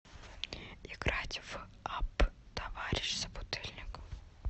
играть в апп товарищ собутыльник